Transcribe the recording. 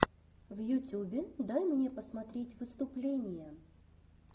в ютюбе дай мне посмотреть выступления